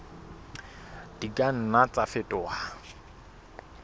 di ka nna tsa fetoha